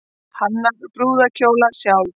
Hannar brúðarskóna sjálf